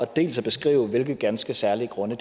dels at beskrive hvilke ganske særlige grunde